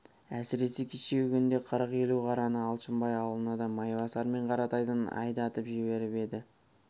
әсіресе кешегі күнде қырық-елу қараны алшынбай аулына да майбасар мен қаратайдан айдатып жіберіп еді